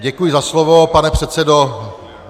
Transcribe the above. Děkuji za slovo, pane předsedo.